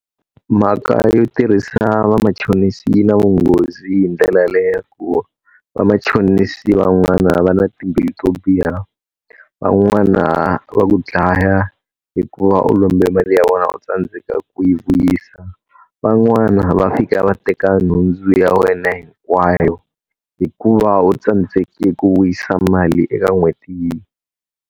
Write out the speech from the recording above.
Mhaka yo tirhisa vamachonisi yi na vunghozi hi ndlela le ya ku, vamachonisi van'wana va na timbilu to biha, van'wana va ku dlaya hikuva u lombe mali ya vona u tsandzeka ku yi vuyisa, van'wana va fika va teka nhundzu ya wena hinkwayo hikuva u tsandzeke ku vuyisa mali eka n'hweti .